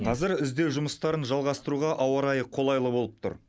қазір іздеу жұмыстарын жалғастыруға ауа райы қолайлы болып тұр